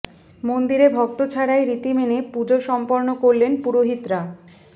মন্দিরে ভক্ত ছাড়াই রীতি মেনে পুজো সম্পন্ন করলেন পুরোহিতরা